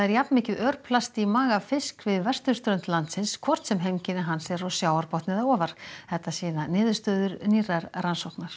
jafnmikið örplast er í maga fisks við vesturströnd landsins hvort sem heimkynni hans eru dýpst á sjávarbotni eða ofar þetta sýna niðurstöður nýrrar rannsóknar